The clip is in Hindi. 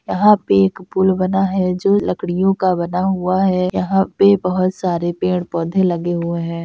यहाँ पे एक पुल बना है जो लकड़ियों का बना हुआ है यहां पे बहुत सारे पेड़-पौधे लगे हुए है।